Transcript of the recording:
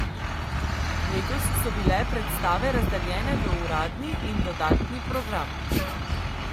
Letos so bile predstave razdeljene v uradni in dodatni program.